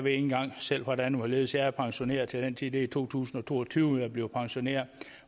engang selv hvordan og hvorledes jeg er pensioneret til den tid det er i to tusind og to og tyve jeg bliver pensioneret